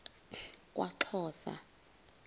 kwaxhosa